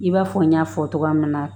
I b'a fɔ n y' fɔ cogoya min na